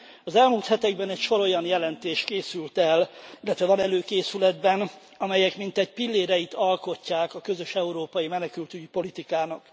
Az elmúlt hetekben egy sor olyan jelentés készült el, illetve van előkészületben, amelyek mintegy pilléreit alkotják a közös európai menekültügyi politikának.